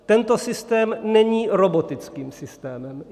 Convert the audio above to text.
Tento systém není robotickým systémem.